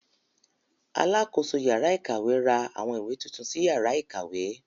Alákoso yàrá ìkàwé ra àwọn ìwé titun sí yàrá ìkàwé.